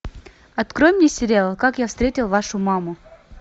открой мне сериал как я встретил вашу маму